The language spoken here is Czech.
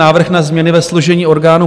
Návrh na změny ve složení orgánů